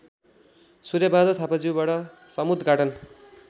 सूर्यबहादुर थापाज्यूबाट समुद्घाटन